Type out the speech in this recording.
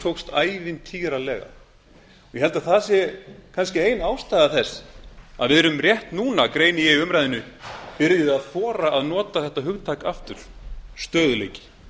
ég held að það sé kannski ein ástæða þess að við erum rétt núna greini ég í umræðunni byrjuð að þora að nota þetta hugtak aftur stöðugleiki